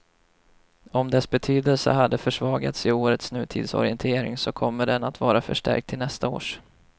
Om dess betydelse hade försvagats i årets nutidsorientering så kommer den att vara förstärkt till nästa års.